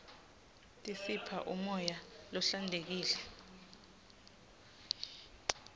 tisipha umoya lohlantekile